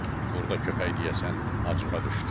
Burda köpək deyəsən acığa düşdü.